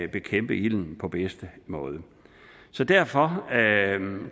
bekæmpe ilden på bedste måde så derfor